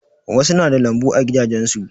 Wasu na da lambu a gidajen su.